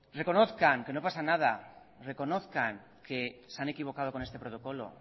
reconozcan que no pasa nada reconozcan que se han equivocado con este protocolo